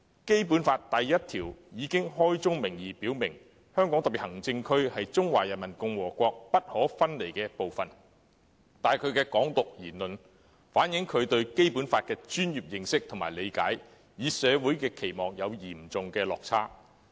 《基本法》第一條已開宗明義表明："香港特別行政區是中華人民共和國不可分離的部分"，但他的"港獨"言論卻反映他對《基本法》的專業認識和理解，與社會期望有很大落差。